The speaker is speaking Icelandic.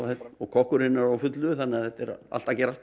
og kokkurinn er á fullu þannig að þetta er allt að gerast